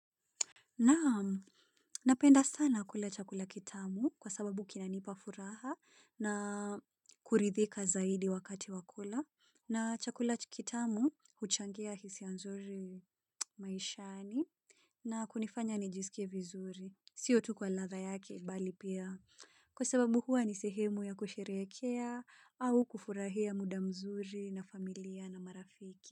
Nam napenda sana kula chakula kitamu kwa sababu kinanipa furaha na kuridhika zaidi wakati wa kula na chakula kitamu huchangia hisia nzuri maishani na kunifanya nijiskie vizuri. Sio tu kwa ladha yake bali pia kwa sababu huwa ni sehemu ya kusherehekea au kufurahia muda mzuri na familia na marafiki.